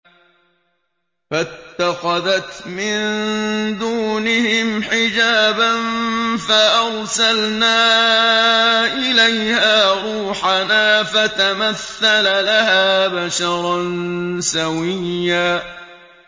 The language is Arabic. فَاتَّخَذَتْ مِن دُونِهِمْ حِجَابًا فَأَرْسَلْنَا إِلَيْهَا رُوحَنَا فَتَمَثَّلَ لَهَا بَشَرًا سَوِيًّا